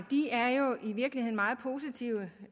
er jo i virkeligheden meget positive